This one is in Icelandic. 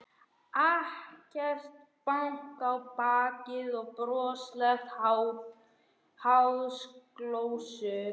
Ekkert bank á bakið og broslegar háðsglósur.